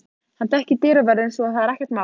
Hann þekkir dyravörðinn svo að það er ekkert mál.